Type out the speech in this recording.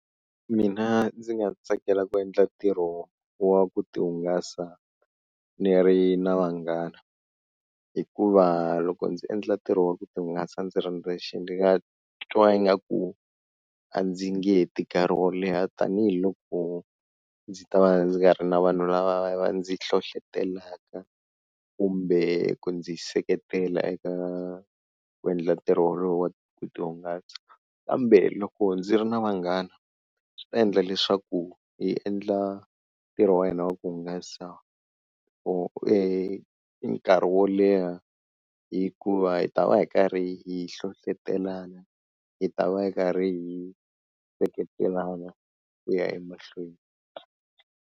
Mina ndzi nga tsakela ku endla ntirho wa ku ti hungasa ni ri na vanghana hikuva loko ndzi endla ntirho wa ku ti hungasa ndzi ri ndzexe, ndzi nga twa ingaku a ndzi nge heti nkarhi wo leha tanihiloko ndzi ta va ndzi nga ri na vanhu lava va ndzi hlohlotelaka kumbe ku ndzi seketela eka ku endla ntirho wolowo wa ku ti hungasa, kambe loko ndzi ri na vanghana swi ta endla leswaku hi endla ntirho wa hina wa ku hungasa for e nkarhi wo leha hikuva hi ta va hi karhi hi hlohlotelana hi ta va hi karhi hi seketelana ku ya emahlweni.